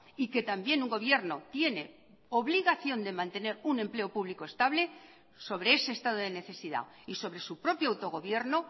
y que también un gobierno tiene obligación de mantener un empleo público estable sobre ese estado de necesidad y sobre su propio autogobierno